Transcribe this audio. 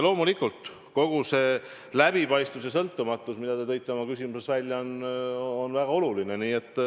Loomulikult, kogu see läbipaistvus ja sõltumatus, mida te tõite oma küsimuses välja, on väga oluline.